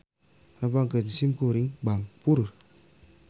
Nepangkeun sim Kuring Bangpur.